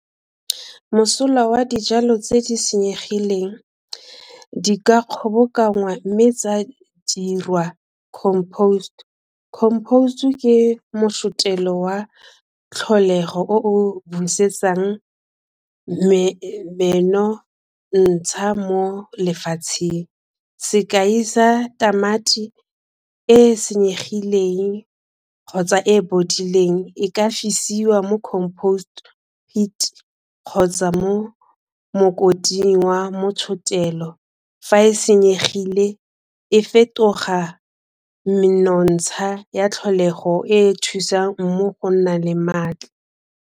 Mosola wa dijalo tse di senyegileng di ka kgobokanngwa mme tsa dirwa composed. Composed ke motšhotelo wa tlholego o o busetsang menontsha mo lefatsheng. Sekai sa tamati e e senyegileng kgotsa e bodileng e ka fisiwa mo composed heat kgotsa mo mokoting wa motšhotelo fa e senyegile e fetoga menontsha ya tlholego e e thusang mmu go nna le maatla.